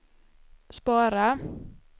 spara